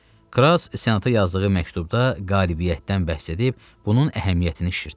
Kras senata yazdığı məktubda qalibiyyətdən bəhs edib bunun əhəmiyyətini şişirtdi.